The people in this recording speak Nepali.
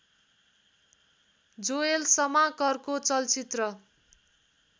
जोएल शमाकरको चलचित्र